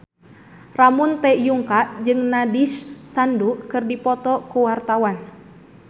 Ramon T. Yungka jeung Nandish Sandhu keur dipoto ku wartawan